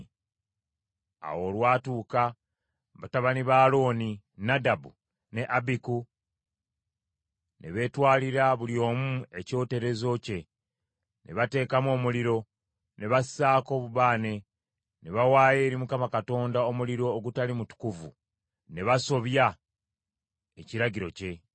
Awo olwatuuka, batabani ba Alooni, Nadabu ne Abiku ne beetwalira buli omu ekyoterezo kye, ne bateekamu omuliro, ne bassaako obubaane, ne bawaayo eri Mukama Katonda omuliro ogutali mutukuvu, ne basobya ekiragiro kye.